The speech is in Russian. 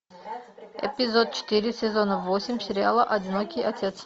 эпизод четыре сезона восемь сериала одинокий отец